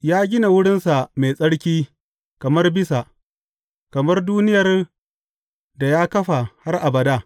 Ya gina wurinsa mai tsarki kamar bisa, kamar duniyar da ya kafa har abada.